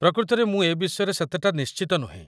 ପ୍ରକୃତରେ ମୁଁ ଏ ବିଷୟରେ ସେତେଟା ନିଶ୍ଟିତ ନୁହେଁ ।